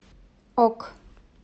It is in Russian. ок